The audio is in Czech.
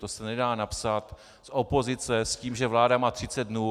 To se nedá napsat z opozice s tím, že vláda má 30 dnů.